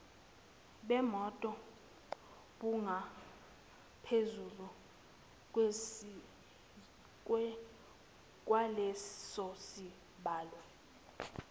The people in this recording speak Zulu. bemoto bungaphezulu kwalesosibalo